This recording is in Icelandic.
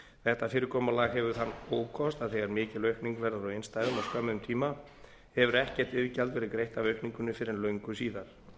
þetta fyrirkomulag hefur þann ókost að þegar mikil aukning verður á innstæðum á skömmum tíma hefur ekkert iðgjald verið greitt af aukningunni fyrr en löngu síðar